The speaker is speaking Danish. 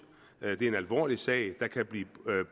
det er en alvorlig sag der kan blive